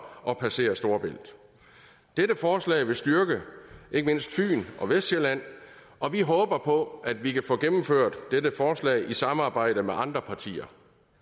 at passere storebælt dette forslag vil styrke ikke mindst fyn og vestsjælland og vi håber på at vi kan få gennemført dette forslag i samarbejde med andre partier